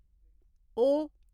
ओ